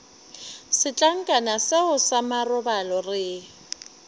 setlankana seo sa marobalo re